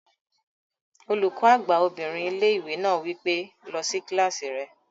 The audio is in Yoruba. Olùkọ́ àgbà obìnrin ilé-ìwé náà wí pé, "lọ sí kílásì rẹ!"